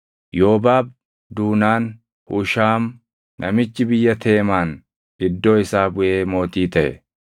Yoobaab duunaan Hushaam namichi biyya Teemaan iddoo isaa buʼee mootii taʼe.